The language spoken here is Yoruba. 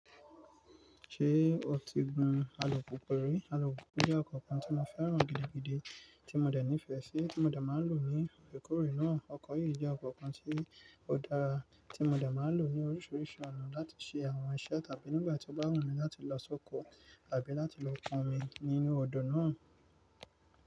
Ṣé o ti gun alùpùpù rí? Alùpùpù jẹ́ ọkọ̀ kan tí mo fẹ́ràn gidigidi, tí mo dà ní ìfẹ́ sí, tí mo dà máa ń lò ní orekórè náà. Ọkọ̀ yìí jẹ́ ọkọ̀ kan tí ó dára tí mo dà máa ń lò ní oríṣiríṣi ọ̀nà láti ṣe àwọn iṣẹ́ tàbí nígbà tí ó bá wù mí láti lọ sóko tàbí láti lọ pàn omí nínú odò náà.